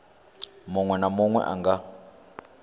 munwe na munwe a nga